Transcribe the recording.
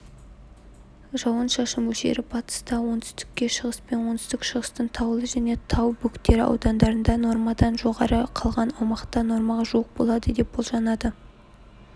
жауын-шашын мөлшері батыста солтүстікте шығыс пен оңтүстік-шығыстың таулы және тау бөктері аудандарында нормадан жоғары қалған аумақта нормаға жуық болады деп болжанады